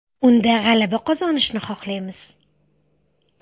Unda g‘alaba qozonishni xohlaymiz.